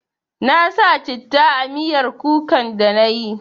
Na sa citta a miyar kukan da na yi